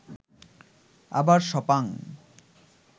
আবার সপাং